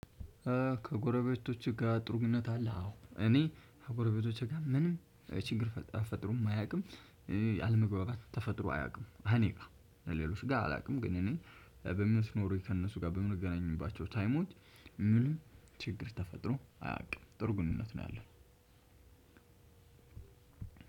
ከጎረቤቶችህ ጋር ጥሩ ግንኙነት አለህ አዎ እኔ ከጎረቤቶቼ ጋር ምንም ችግር ተፈጥሮም አያቅም አለመግባባት ተፈጥሮ አያቅም እኔ ጋር ሌሎች ጋር አላቅም ግን እኔ በምኖረኝ ከእነሱ ጋር በምንገናኝባቸው ታይሞች ምንም ችግር ተፈጥሮ አያውቅም ጥሩ ግንኙነት ነው ያለው።